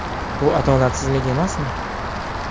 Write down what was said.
Bu adolatsizlik emasmi?